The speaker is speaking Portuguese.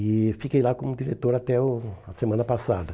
E fiquei lá como diretor até o a semana passada.